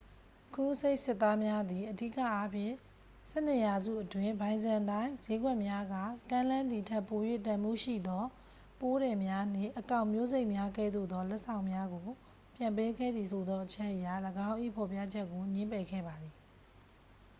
ခရူးဆိတ်စစ်သားများသည် အဓိကအားဖြင့် ဆယ့်နှစ်ရာစုအတွင်း ဘိုင်ဇန်တိုင်း စျေးကွက်များကကမ်းလှမ်းသည်ထက် ပို၍တန်ဖိုးရှိသော ပိုးထည်များနှင့် အကောင် မျိုးစိတ်များကဲ့သို့သော လက်ဆောင်များကို ပြန်ပေးခဲ့သည်ဆိုသော အချက်အရ ၎င်း၏ဖော်ပြချက်ကို ငြင်းပယ်ခဲ့ပါသည်